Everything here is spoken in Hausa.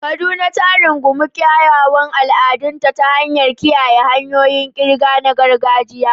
Kaduna ta rungumi kyawawan al'adunta ta hanyar kiyaye hanyoyin ƙirga na gargajiya.